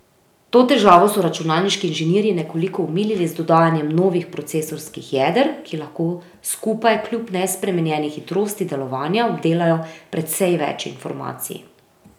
To težavo so računalniški inženirji nekoliko omilili z dodajanjem novih procesorskih jeder, ki lahko skupaj kljub nespremenjeni hitrosti delovanja obdelajo precej več informacij.